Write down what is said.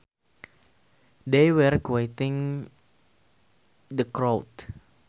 They were quieting the crowd